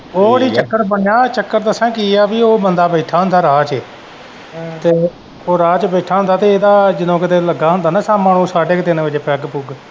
ਉਹ ਨੀ ਚੱਕਰ ਬਣਿਆ ਚੱਕਰ ਦੱਸਾਂ ਕੀ ਐ ਪੀ ਉਹ ਬੰਦਾ ਬੈਠਾ ਹੁੰਦਾ ਰਾਹ ਚ ਉਹ ਰਾਹ ਚ ਬੈਠਾ ਹੁੰਦਾ ਤੇ ਏਦਾ ਜਦੋਂ ਕਿਤੇ ਲੱਗਾ ਹੁੰਦਾ ਨਾ ਸ਼ਾਮਾ ਨੂੰ ਸਾਡੇ ਕ ਤਿੰਨ ਵਜੇ ਪੈੱਗ ਪੁੱਗ।